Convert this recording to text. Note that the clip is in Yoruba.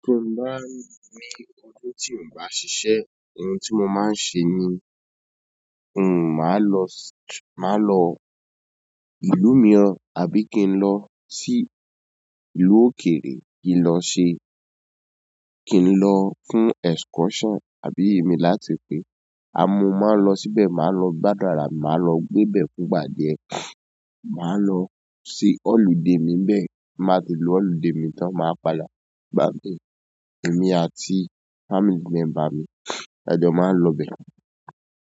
Tí mo bá ní ọdún tí n bá ṣiṣẹ́, ohun tí mo máa ń ṣe ni, n máa lọ, máa lọ ìlú mìíràn àbí kí n lọ sí ìlú òkèèrè kí n lọ ṣe, kí n lọ fún excursion àbí èmi láti pé, àmọ́ mo máa lọ síbẹ̀, máa lọ gbàdun ara mi, máa lọ gbébẹ̀ fún ìgbà díé. Màá lọ sí ọludé ni bẹ́ẹ̀, ti n bá ti lo ọludé mi tán, máa padà bá mi, èmi àti family member mi. Ẹ̀jọ̀ máa ń lọ bẹ́ẹ̀.